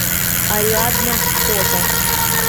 ариадна фото